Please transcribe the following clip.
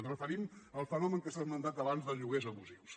ens referim al fenomen que s’ha esmentat abans dels lloguers abusius